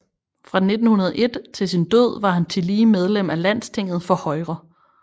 Fra 1901 til sin død var han tillige medlem af Landstinget for Højre